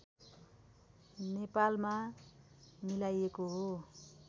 नेपालमा मिलाइएको हो